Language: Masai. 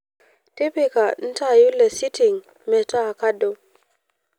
tipika ntaai lesiting metaa kado